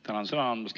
Tänan sõna andmast!